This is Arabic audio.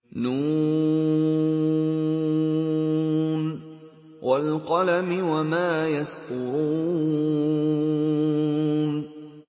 ن ۚ وَالْقَلَمِ وَمَا يَسْطُرُونَ